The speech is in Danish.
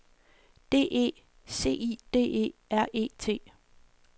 D E C I D E R E T